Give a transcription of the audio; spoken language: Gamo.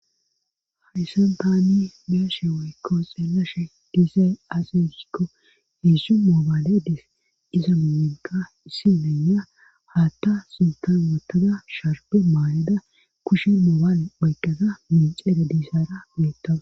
hayssan taani be'ashe woykko xeelashe dizay asusikko hieszzu moobaale dis iza mumenka issi meyya haatta sultan wottada sharpe maaleda kushe mooban oyqqaza minxeede diisaara miittawa